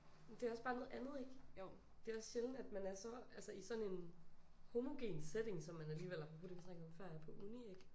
Det også bare noget andet ikke? Det også sjældent man er så altså i sådan en homogen setting som man alligevel apropos det vi snakkede om før er på uni ikke?